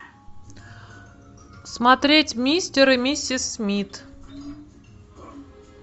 смотреть мистер и миссис смит